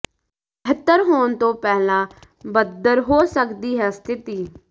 ਬਿਹਤਰ ਹੋਣ ਤੋਂ ਪਹਿਲਾਂ ਬਦਤਰ ਹੋ ਸਕਦੀ ਹੈ ਸਥਿਤੀ